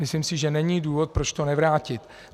Myslím si, že není důvod, proč to nevrátit.